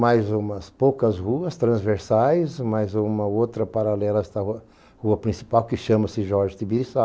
Mais umas poucas ruas transversais, mais uma outra paralela a esta rua, rua principal, que chama-se Jorge Tiiriçá.